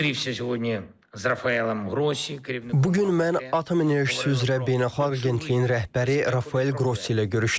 Bu gün mən Atom Enerjisi üzrə Beynəlxalq Agentliyin rəhbəri Rafael Qrossi ilə görüşdüm.